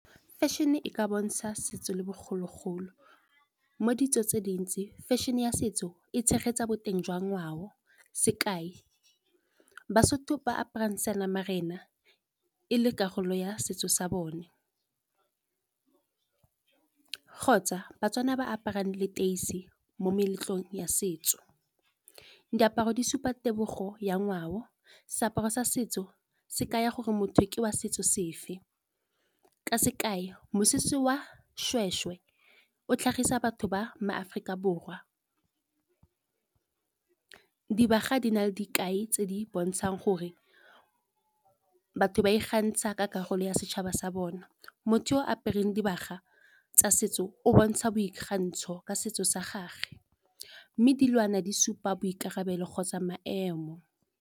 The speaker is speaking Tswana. Fashion e ka bontsha setso le bogologolo, mo ditso tse dintsi fashion-e ya setso e tshegetsa boteng jwa ngwao. Sekai baSotho ba aparang seanamarena e le karolo ya setso sa bona kgotsa baTswana ba aparang leteisi mo meletlong ya setso. Diaparo di supa tebogo ya ngwao, seaparo sa setso se ka ya gore motho ke wa setso sefe. Ka sekai mosese wa seshweshwe o tlhagisa batho ba ma Aforika Borwa. Dibaga di na le dikai tse di bontshang gore batho ba I kgantsha ka karolo ya setšhaba sa bona, motho o apereng dibaga tsa setso o bontsha boikgantsho ka setso sa gagwe, mme dilwana di supa boikarabelo kgotsa maemo.